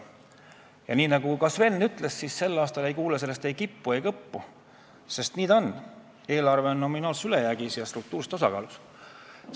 Ja nagu ka Sven ütles, sel aastal ei kuule me sellest ei kippu ega kõppu, sest nii see on – eelarve on nominaalses ülejäägis ja struktuurses tasakaalus.